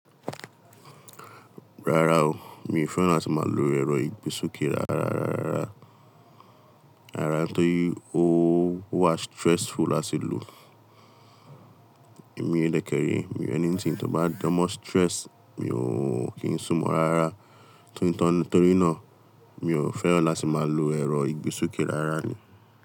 Rárá o, mi ò fẹ́ràn láti máa lo ẹ̀rọ ìgbésókè rárá, rárá, rárá. Rárá nítorí ó wà stressful láti lò. Èmi dẹkẹrẹ, ẹni tí ń tó bá jọ mo stress, mi ò kí ń sún mọ́ rárá. Torí náà, mi ò fẹ́ràn láti máa lo ẹ̀rọ ìgbésókè rárá ni.